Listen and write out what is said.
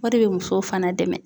O de bɛ musow fana dɛmɛ.